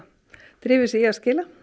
drifi sig í að skila